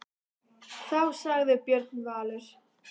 Þá sagði Björn Valur: